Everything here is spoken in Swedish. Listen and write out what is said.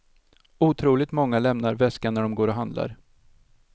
Otroligt många lämnar väskan när dom går och handlar.